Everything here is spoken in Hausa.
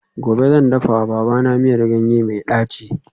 Gobe ​​zan dafawa babana miyar ganye mai daci